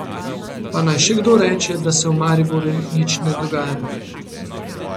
Pa naj še kdo reče, da se v Mariboru nič ne dogaja.